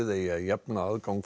eigi að jafna aðgang